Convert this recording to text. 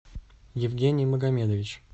евгений магомедович